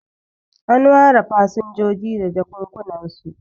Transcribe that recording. an ware fasinjoji da jakjunansu